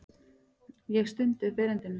Ég stundi upp erindinu.